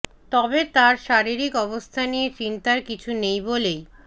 তবে তাঁর শারীরিক অবস্থা নিয়ে চিন্তার কিছু নেই বলেই